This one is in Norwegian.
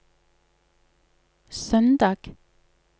søndag